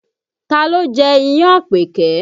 Taa ló jẹ́ iyán an Àpèkẹ́?